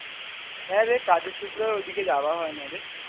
হ্যাঁ রে কাজের সূত্রে ঐ দিকে যাওয়া হয় না রে